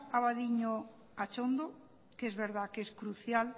abadiño atxondo que es verdad que es crucial